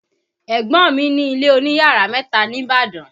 Ẹ̀gbọ́n mi ní ilé oní yàrá mẹ́ta ní Ìbàdàn